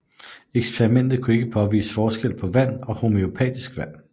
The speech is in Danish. Eksperimentet kunne ikke påvise en forskel på vand og homøopatisk vand